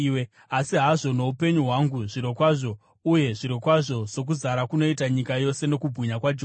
Asi hazvo, noupenyu hwangu zvirokwazvo, uye zvirokwazvo sokuzara kunoita nyika yose nokubwinya kwaJehovha,